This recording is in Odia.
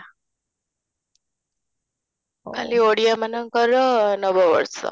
କାଲି ଓଡ଼ିଆ ମାନଙ୍କର ନବ ବର୍ଷ